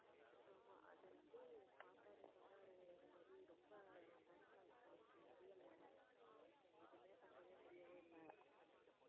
ஆமா அது வந்து தாத்தா என்ன சொன்னாரு இந்த மாதிரி ரொம்ப torture ஆயிடுச்சு அவருக்கு முடியலை எதுவுமே பண்ணவே முடியவே இல்லை